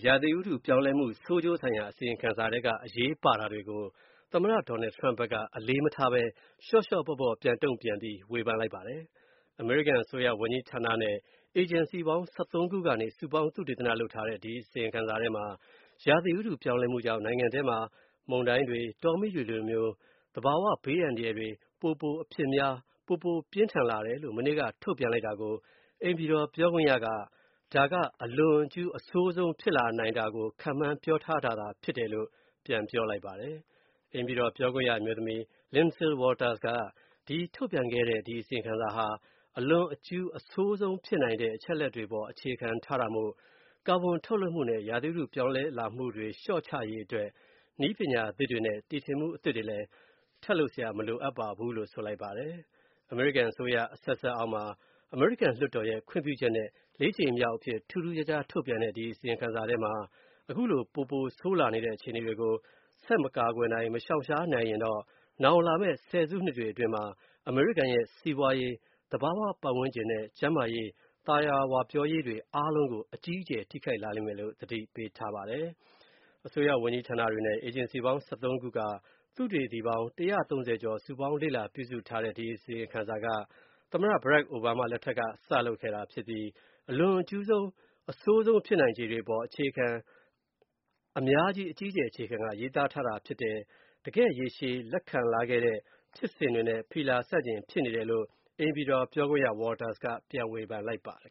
ရာသီဥတုပြောင်းလဲမှုဆိုးကျိုးဆိုင်ရာ အမေရိကန်အစိုးရရဲ့အစီရင်ခံစာထဲက အရေးပါတာတွေ ကို သမ္မတ Donald Trump က အလေးမထားဘဲ လျော့လျော့ပေါ့ပေါ့ ပြန်တုံ့ပြန်ဝေဖန်လိုက် ပါတယ်။ အမေရိကန်အစိုးရဝန်ကြီးဌာနနဲ့ အေဂျင်စီပေါင်း ခု ကနေ စုပေါင်းသုတေသနလုပ်ထားတဲ့ ဒီ အစီရင်ခံစာ ထဲမှာ ရာသီဥတုပြောင်းလဲမှုကြောင့် နိုင်ငံထဲ မုန်တိုင်းတွေ၊ တောမီးတွေမျိုး သဘာဝ ဘေးအန္တရာယ်တွေ ပို အဖြစ်များ၊ ပို ပြင်းထန်လာတယ်လို့ မနေ့က ထုတ်ပြန်လိုက်တာ ကို အိမ်ဖြူ တော် ပြောခွင့်ရက ဒါက အလွန် အကျူး၊ အဆိုးဆုံးဖြစ်လာနိုင်တာကို ခန့်မှန်းပြောထားတာသာ ဖြစ်တယ်လို့ ပြန်ပြောလိုက်ပါတယ်။ အိမ်ဖြူတော်ပြောခွင့်ရ အမျိုးသမီး Lindsay Walters က၊ ဒီ ထုတ်ပြန်ခဲ့တဲ့ ဒီအစီရင်ခံစာဟာ အလွန်အကျူး အဆိုးဆုံးဖြစ်နိုင်တဲ့ အချက်အလက်တွေအပေါ် အခြေခံထားတာမို့ ကာဗွန်ထုတ်လုပ်မှုနဲ့ ရာသီဥတု ပြောင်းလဲ လာမှုတွေ လျော့ချရေးအတွက် နည်းပညာသစ်တွေနဲ့ တီထွင်မှုတွေ မလိုအပ်ပါဘူးလို့ ဆိုလိုက်ပါတယ်။ အမေရိကန်အစိုးရ အဆက်ဆက်အောက်မှာ လွှတ်တော် ခွင့်ပြုချက်နဲ့ ကြိမ်မြောက်အဖြစ် ထူးထူးခြားခြား ထုတ်ပြန်တဲ့ ဒီအစီရင်ခံစာထဲမှာ အခုလို ပိုပိုဆိုးလာတဲ့ အခြေအနေတွေကို ဆက် မကာကွယ်၊ မရှောင်ရှား နိုင်ရင်နောင်လာမယ့် ဆယ်စုနှစ်တွေအတွင်းမှာ အမေရိကန်ရဲ့ စီးပွားရေး၊ သဘာဝပတ်ဝန်းကျင်နဲ့ ကျန်းမာ ရေး၊ သာယာဝပြောရေးတွေအားလုံးကို အကြီးအကျယ်ထိခိုက်လာလိမ့်မယ်လို့ သတိပေးထားပါတယ်။ အစိုးရဝန်ကြီးဌာနတွေနဲ့ အေဂျင်စီပေါင်း ခု က သုတေသီပေါင်း ကျော် စုပေါင်း လေ့လာပြုစုတဲ့ အခု အစီရင်ခံက သမ္မတ Barack Obama လက်ထက်ထဲက စလုပ်ခဲ့တာဖြစ်ပြီး အလွန်အကျူးအဆိုးဆုံး ဖြစ်နိုင်ခြေတွေအပေါ် အလွန်အကျူးအခြေခံရေးသားထားတာသာဖြစ်တယ်၊ တကယ့် ရေရှည်လက်ခံလာခဲ့တဲ့ ဖြစ်စဉ်တွေနဲ့ ဖီလာဆန့်ကျင်နေတယ်လို့ ပြောခွင့်ရ Walters က ပြန်ဝေဖန်လိုက်ပါတယ်